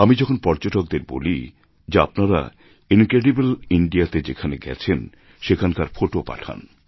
আমি যখন পর্যটকদের বলি যে আপনারা ইনক্রেডিবল ইন্দিয়া তে যেখানে গেছেন সেখানকার ফোটো পাঠান